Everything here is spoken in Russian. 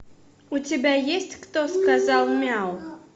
у тебя есть кто сказал мяу